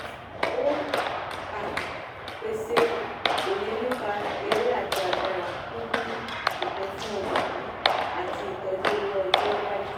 ó um pèsè òye nípa èrè àti agbára pípín ìpín fún olùpín àti ìtọ́jú owó ọjọ́ iwájú.